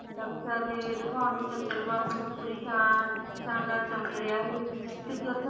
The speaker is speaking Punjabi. ਦਿਖਾਉਣ ਨੂੰ ਚੰਦਰਮਾ ਆਪਣੀ ਪੂਰੀ ਸ਼ਾਨ, ਸ਼ਾਨ ਨਾਲ ਚਮਕ ਰਿਹਾ ਸੀ ਕਿਉਕਿ ਓਥੇ